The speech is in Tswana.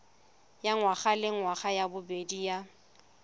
ya ngwagalengwaga ya bobedi ya